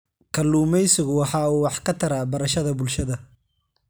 Kalluumaysigu waxa uu wax ka taraa barashada bulshada.